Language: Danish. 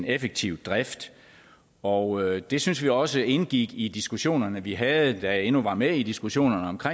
effektiv drift og det synes vi også indgik i diskussionerne vi havde da jeg endnu var med i diskussionerne